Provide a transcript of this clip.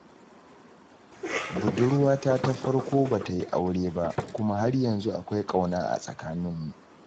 Budurwata ta farko ba ta yi aure ba, kuma har yanzu akwai ƙauna a tsakaninmu.